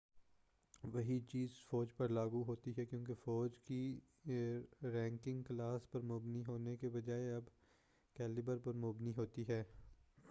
وہی چیز فوج پر لاگو ہوتی ہے کیونکہ فوج کی رینکنگ کلاس پر مبنی ہونے کے بجائے اب کیلبر پر مبنی ہوتی ہے